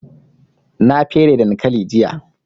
Na fere dankali jiya